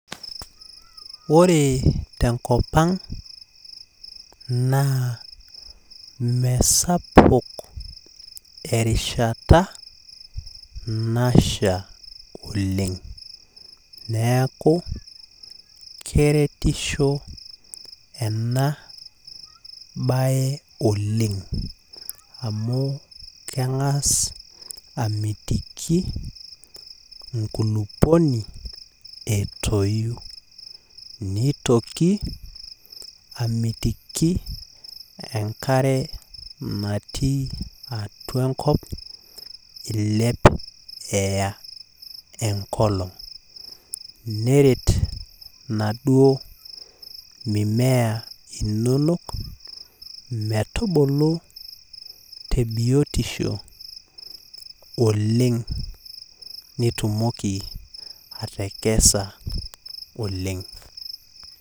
Ore tenkop ang, naa mesapuk erishata nasha oleng. Neeku keretisho enabae oleng. Amu keng'as amitiki inkulupuoni, etoyu. Nitoki, amitiki enkare natii atua enkop, iilep eya enkolong. Neret inaduo mimea inonok, metubulu tebiotisho oleng nitumoki atakesa oleng.